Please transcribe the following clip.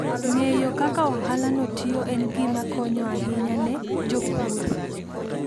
Ng'eyo kaka ohalano tiyo en gima konyo ahinya ne jopur.